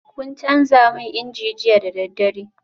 Kun canza man inji jiya da daddare?